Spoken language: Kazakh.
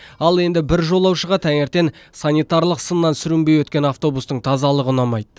ал енді бір жолаушыға таңертең санитарлық сыннан сүрінбей өткен автобустың тазалығы ұнамайды